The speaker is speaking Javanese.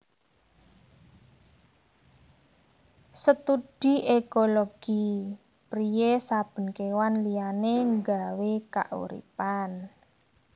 Studi ékologi priyé saben kéwan liyané nggawé kauripan